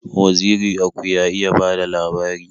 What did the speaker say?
Waziri Aku ya iya bada labari